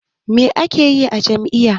Me ake yi a jami'a?